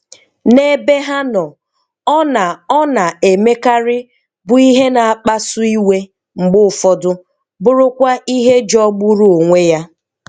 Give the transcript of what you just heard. Na ebe ha no, ọna ọna emekari bụ ihe na akpa su iwe mgbe ụfọdụ bụrụkwa ihe jo gburu onwe ya.